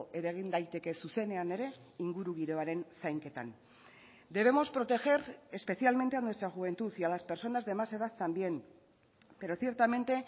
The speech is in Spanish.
eragin daiteke zuzenean ere ingurugiroaren zainketan debemos proteger especialmente a nuestra juventud y a las personas de más edad también pero ciertamente